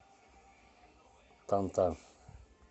танта